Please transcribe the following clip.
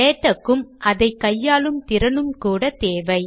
லேடக்கும் அதை கையாளும் திறனும் கூட தேவை